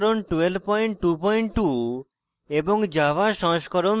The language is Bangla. jmol সংস্করণ 1222